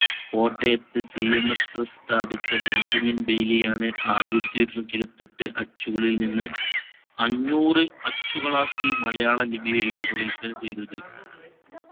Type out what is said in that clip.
കോട്ടയത്തു CMSpress സ്ഥാപിച്ച Benjamin Bailey ആണ് ആയിരത്തി ഒരുന്നൂറ്റി ഇരുപത്തി എട്ട് അച്ചുകളിൽ നിന്ന് അഞ്ഞൂറ് അച്ചുകളാക്കി മലയാളം ലിപിയെ രൂപകല്പന ചെയ്‌തത്‌